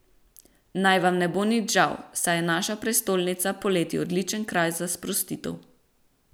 Naj vam ne bo nič žal, saj je naša prestolnica poleti odličen kraj za sprostitev.